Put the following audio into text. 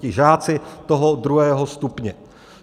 Ti žáci toho druhého stupně?